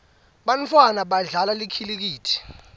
bantfwana badlala likhilikithi